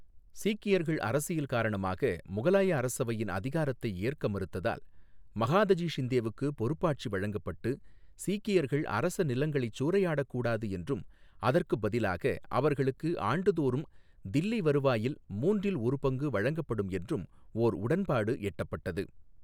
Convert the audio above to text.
சீக்கியர்கள் அரசியல் காரணமாக முகலாய அரசவையின் அதிகாரத்தை ஏற்க மறுத்ததால், மகாதஜி ஷிந்தேவுக்கு பொறுப்பாட்சி வழங்கப்பட்டு சீக்கியர்கள் அரச நிலங்களைச் சூறையாடக் கூடாது என்றும் அதற்குப் பதிலாக அவர்களுக்கு ஆண்டுதோறும் தில்லி வருவாயில் மூன்றில் ஒரு பங்கு வழங்கப்படும் என்றும் ஓர் உடன்பாட்டு எட்டப்பட்டது.